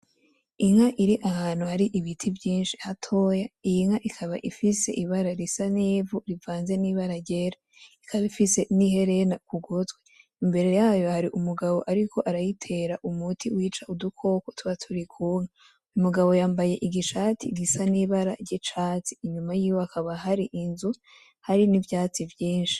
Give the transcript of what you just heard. Inka iri ahantu hari ibiti vyinshi hatoya, iyi nka ikaba ifise ibara risa n'ivu rivanze n'ibara ryera; ikaba ifise n'iherena ku gutwi, imbere yayo hari umugabo ariko arayitera umuti wica udukoko tuba turi ku nka. Umugabo yambaye igishati gisa n'ibara ry'icatsi, inyuma yiwe hakaba hari inzu, hari n'ivyatsi vyinshi.